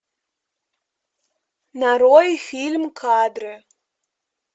нарой фильм кадры